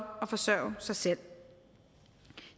at forsørge sig selv